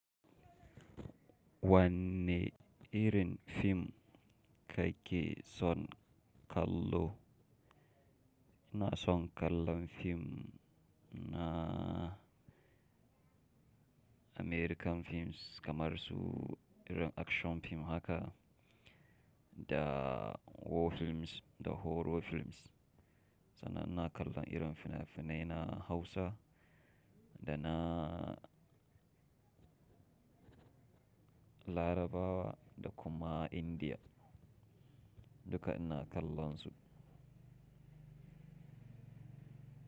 Wanne irin fim kake son kallo? Ina son kallon fim na American films kamar su irin action fim haka da war films da horror films. Sannan ina kallon irin fina-finai na Hausa da na Larabawa da kuma India. Duka ina kallon su.